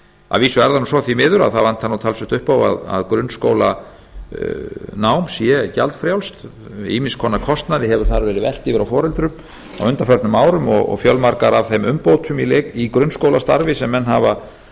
að vísu er það nú svo því miður að það vantar nú talsvert upp á að grunnskólanám sé gjaldfrjálst ýmiss konar kostnaði hefur þar verið velt yfir á foreldra á undanförnum árum og fjölmargar af þeim umbótum í grunnskólastarfi sem menn hafa